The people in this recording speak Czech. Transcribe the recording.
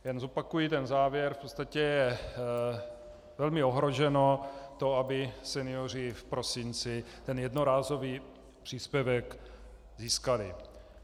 Jen zopakuji ten závěr - v podstatě je velmi ohroženo to, aby senioři v prosinci ten jednorázový příspěvek získali.